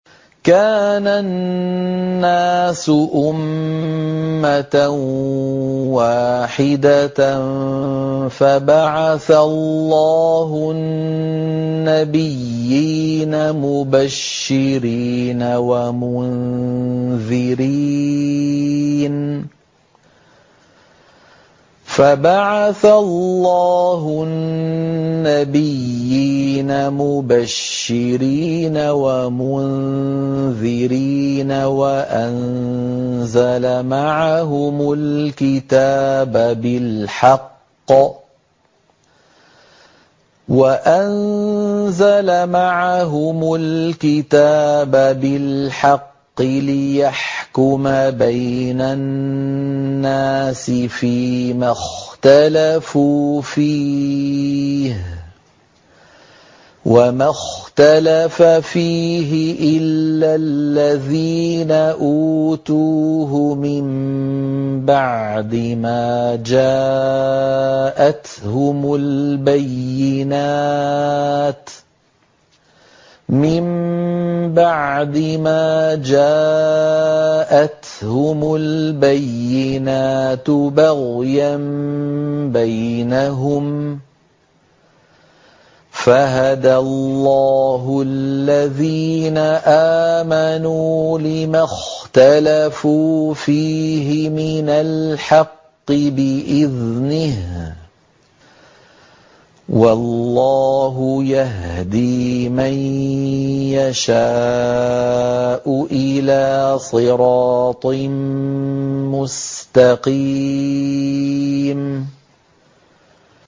كَانَ النَّاسُ أُمَّةً وَاحِدَةً فَبَعَثَ اللَّهُ النَّبِيِّينَ مُبَشِّرِينَ وَمُنذِرِينَ وَأَنزَلَ مَعَهُمُ الْكِتَابَ بِالْحَقِّ لِيَحْكُمَ بَيْنَ النَّاسِ فِيمَا اخْتَلَفُوا فِيهِ ۚ وَمَا اخْتَلَفَ فِيهِ إِلَّا الَّذِينَ أُوتُوهُ مِن بَعْدِ مَا جَاءَتْهُمُ الْبَيِّنَاتُ بَغْيًا بَيْنَهُمْ ۖ فَهَدَى اللَّهُ الَّذِينَ آمَنُوا لِمَا اخْتَلَفُوا فِيهِ مِنَ الْحَقِّ بِإِذْنِهِ ۗ وَاللَّهُ يَهْدِي مَن يَشَاءُ إِلَىٰ صِرَاطٍ مُّسْتَقِيمٍ